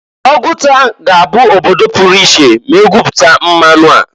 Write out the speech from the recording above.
Oguta ga -abụ obodo puru iche ma egwuputa mmanụ a.